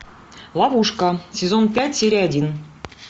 ловушка сезон пять серия один